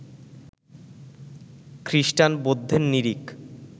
খ্রিস্টান, বৌদ্ধের নিরিখ